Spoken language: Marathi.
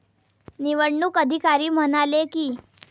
निवडणूक अधिकारी म्हणाले की.